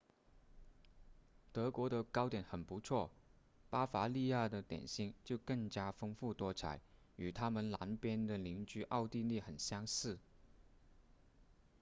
德国的糕点很不错巴伐利亚的点心就更加丰富多彩与他们南边的邻居奥地利很相似